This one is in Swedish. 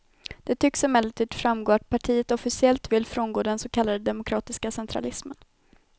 Det tycks emellertid framgå att partiet officiellt vill frångå den så kallade demokratiska centralismen.